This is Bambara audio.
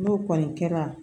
N'o kɔni kɛra